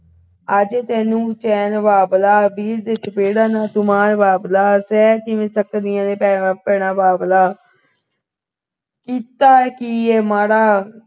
ਆ ਜਾਵੇ ਤੈਨੂੰ ਚੈਨ ਬਾਬਲਾ ਵੀਰ ਤੇ ਚਪੇੜਾ ਨਾ ਤੂੰ ਮਾਰ ਬਾਬੁਲਾ ਜਦੋਂ ਭੈਣ ਬਾਬਲਾ ਸ਼ਹਿਰੀ ਵੀ ਸਕਦੀਆਂ ਨੇ ਭੈਣਾਂ ਭੈਣਾਂ ਬਾਬਲਾ ਕੀਤਾ ਕੀ ਹੈ ਮਾੜਾ